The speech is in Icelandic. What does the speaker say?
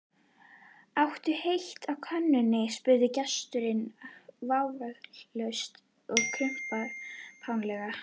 Áttu heitt á könnunni? spurði gesturinn vafningalaust og kumpánlega.